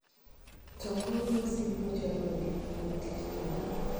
To, kor lwasi biro chalo nade wuok tich jumani